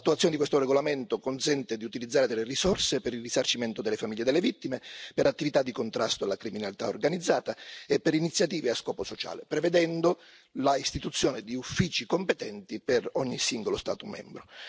L'attuazione di questo regolamento consente di utilizzare delle risorse per il risarcimento delle famiglie delle vittime, per attività di contrasto alla criminalità organizzata e per iniziative a scopo sociale, prevedendo l'istituzione di uffici competenti per ogni singolo Stato membro.